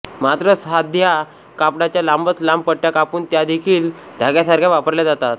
मात्र साध्या कापडाच्या लांबच लांब पट्ट्या कापून त्यादेखील धाग्यासारख्या वापरल्या जातात